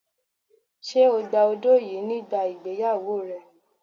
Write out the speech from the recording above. Ṣé o gba odó yìí nígbà ìgbéyàwó rẹ ni?